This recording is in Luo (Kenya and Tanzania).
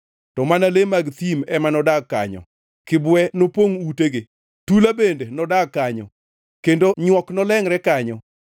To mana le mag thim ema nodag kanyo, kibwe nopongʼ utegi; tula bende nodag kanyo kendo nywok nolengʼre kanyo.